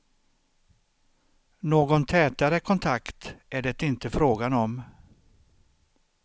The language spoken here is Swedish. Någon tätare kontakt är det inte frågan om.